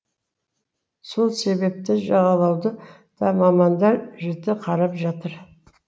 сол себепті жағалауды да мамандар жіті қарап жатыр